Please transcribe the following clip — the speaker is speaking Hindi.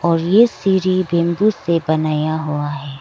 और ये सिरी बैंबू से बनाया हुआ है।